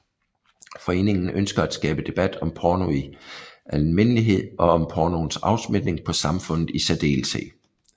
Foreningen ønsker at skabe debat om porno i almindelighed og om pornoens afsmitning på samfundet i særdeleshed